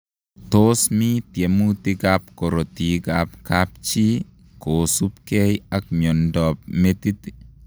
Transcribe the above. Tos mi tiemutik ap korotik ap kapchii kosuup gei ak miondoop metit?